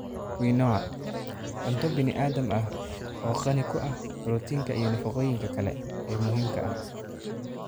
Quinoa: Cunto bini'aadam ah oo qani ku ah borotiinka iyo nafaqooyinka kale ee muhiimka ah.